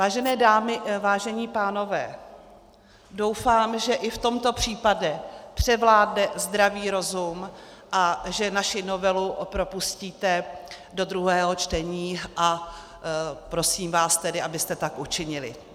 Vážené dámy, vážení pánové, doufám, že i v tomto případě převládne zdravý rozum a že naši novelu propustíte do druhého čtení, a prosím vás tedy, abyste tak učinili.